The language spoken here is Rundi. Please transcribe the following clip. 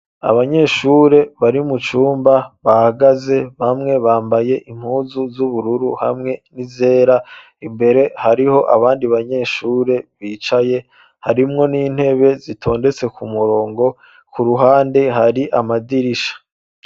abanyeshuri bari mu cumba bahagaze bamwe bambaye impuzu z'ubururu hamwe n'izera imbere hariho abandi banyeshuri bicaye harimwo n'intebe zitondetse ku murongo ku ruhande hari amadirisha.